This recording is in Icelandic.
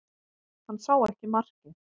Hann sá ekki markið